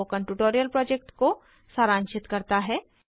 यह spoken tutorial project को सारांशित करता है